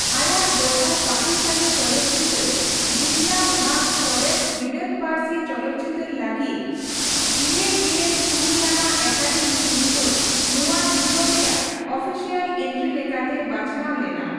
ᱟᱭᱟᱜ ᱫᱚᱥᱟᱨ ᱯᱟᱠᱤᱥᱛᱷᱟᱱᱤ ᱪᱚᱞᱚᱛᱪᱤᱛᱟᱹᱨ ᱡᱤᱱᱫᱟ ᱵᱷᱟᱜ ᱥᱚᱨᱮᱥ ᱵᱤᱞᱟᱹᱛ ᱯᱟᱹᱨᱥᱤ ᱪᱚᱞᱚᱛᱪᱤᱛᱟᱹᱨ ᱞᱟᱹᱜᱤᱫ ᱘᱖ ᱟᱱᱟᱜ ᱮᱠᱟᱰᱮᱢᱤ ᱥᱤᱨᱯᱟᱹᱼᱱᱚᱣᱟ ᱫᱤᱥᱚᱢ ᱨᱮᱭᱟᱜ ᱚᱯᱷᱤᱥᱤᱭᱟᱞ ᱮᱱᱴᱨᱤ ᱞᱮᱠᱟᱛᱮ ᱵᱟᱪᱷᱱᱟᱣ ᱞᱮᱱᱟ ᱾